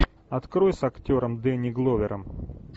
открой с актером дэнни гловером